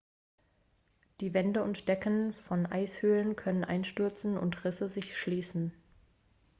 die wände und decken von eishöhlen können einstürzen und risse sich schließen